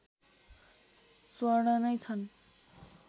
स्वर्ण नै छन्